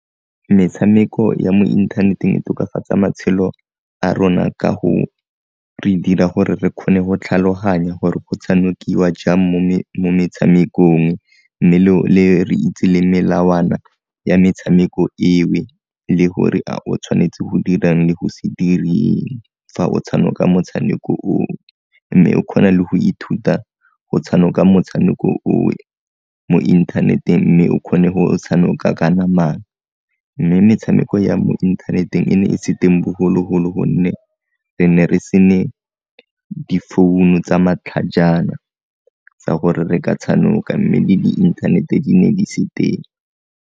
Metshameko ya mo inthaneteng e tokafatsa matshelo a rona ka go re dira gore re kgone go tlhaloganya gore go tshanokiwa jang mo metshamekong mme re itse le melawana ya metshameko eo le gore a o tshwanetse go dirang le go se dire eng fa o tshanoka motshameko o o, mme o kgona le go ithuta go tshanoka motshameko o o mo inthaneteng mme o kgone go o tsahanoka ka namana, mme metshameko ya mo inthaneteng e ne e se teng bogologolo gonne re ne re se ne difounu tsa matlhajana tsa gore re ka tshanoka mme le di-internet-e di ne di se teng.